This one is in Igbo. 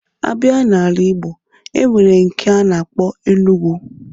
A bịa n'ala Ịgbo, e nwere nke a na-akpọ Enugwu